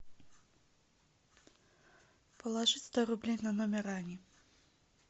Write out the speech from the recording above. положить сто рублей на номер ани